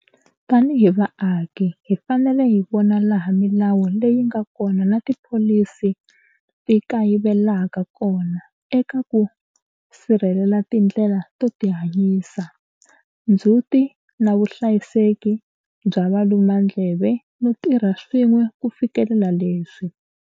Tanihi vaaki, hi fanele hi vona laha milawu leyi nga kona na tipholisi ti kayivelaka kona eka ku sirhelela tindlela to tihanyisa, ndzhuti na vuhlayiseki bya valu mandleve no tirha swin'we ku fikelela leswi.